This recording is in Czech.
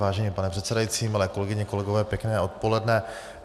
Vážený pane předsedající, milé kolegyně, kolegové, pěkné odpoledne.